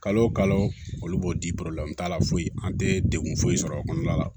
Kalo o kalo olu b'o di t'a la foyi an tɛ degun foyi sɔrɔ o kɔnɔna la